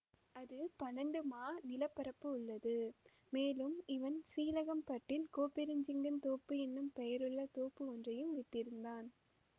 அது பன்னிரெண்டு மா நிலப்பரப்புள்ளது மேலும் இவன் சீழகம் பட்டில் கோப்பெருஞ்சிங்கன் தோப்பு என்னும் பெயருள்ள தோப்பு ஒன்றையும் விட்டிருந்தான்